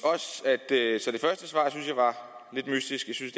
jeg var lidt mystisk jeg synes